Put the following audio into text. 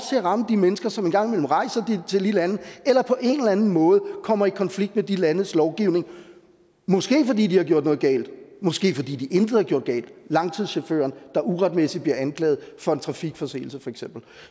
at ramme de mennesker som en gang imellem rejser til de lande eller på en eller anden måde kommer i konflikt med de landes lovgivning måske fordi de har gjort noget galt måske fordi de intet har gjort galt for langturschaufføren der uretmæssigt bliver anklaget for en trafikforseelse